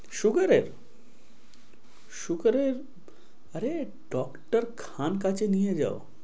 sugar এর sugar এর। আরে doctor খান কাছে নিয়ে যাও।